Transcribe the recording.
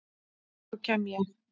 Þá kem ég.